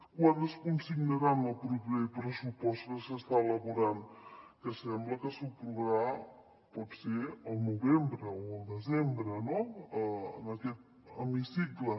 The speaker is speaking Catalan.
quant es consignarà en el proper pressupost que s’està elaborant que sembla que s’aprovarà potser al novembre o al desembre no en aquest hemicicle